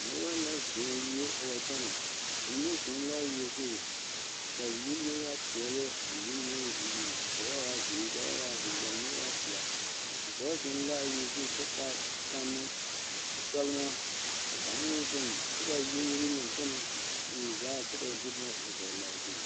Noba la zɔŋ wie a wa kyɛnɛ ba mine zeŋ l,a wie zu k,a wie mine waa peɛle a mine meŋ ka ba waa zeere k,a mine waa pelaa dɔɔ zeŋ l,a wie zu kyɛ taa tammo kyɔlemɔ ka kaŋ meŋ zeŋ kyɛ ka wie mine meŋ kyɛnɛ wie zaglaa kyɛ ka ba de boma a dɔgle a zu.